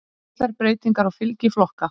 Litlar breytingar á fylgi flokka